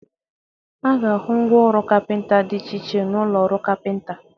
A ga-ahụ ngwa ọrụ kapịnta dị iche iche n'ụlọ ọrụ kapịnta.